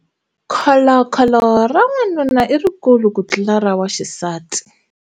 Kholokholo ra wanuna i rikulu kutlula ra waxisati.